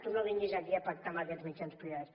tu no vinguis aquí a pactar amb aquests mitjans privats